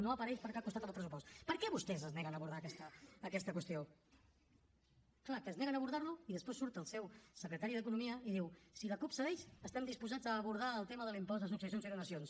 no apareix per cap costat en el pressupost per què vostès es neguen a abordar aquesta qüestió clar es neguen a abordar ho i després surt el seu secretari d’economia i diu si la cup cedeix estem disposats a abordar el tema de l’impost de successions i donacions